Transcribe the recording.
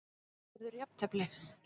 Verður jafntefli?